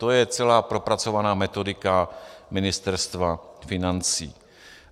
To je celá propracovaná metodika Ministerstva financí.